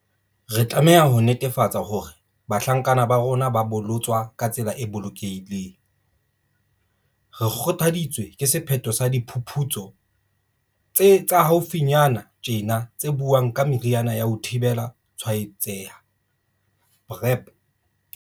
Re tlameha ho netefatsa hore bahlankana ba rona ba bolotswa ka tsela e bolokehileng. Re kgothaditswe ke sephetho sa diphuputsu tsa haufinyana tjena tse buang ka meriana ya ho thibela tshwaetseha, PrEP.